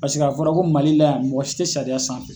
Paseke a fɔra ko mali la yan , mɔgɔ si te sariya sanfɛ.